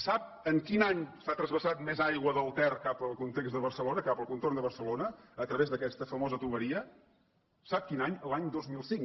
sap en quin any s’ha transvasat més aigua del ter cap al context de barcelona cap al contorn de barcelona a través d’aquesta famosa canonada sap quin any l’any dos mil cinc